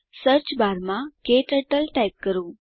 search બારમાં ક્ટર્ટલ type કરો